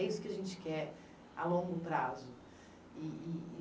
É isso que a gente quer a longo prazo. E e e